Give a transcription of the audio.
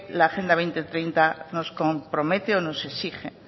laque la agenda dos mil treinta nos compromete o nos exige